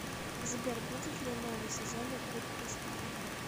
сбер будет ли новый сезон игры престолов